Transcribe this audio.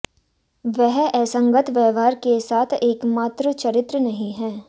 वह असंगत व्यवहार के साथ एकमात्र चरित्र नहीं है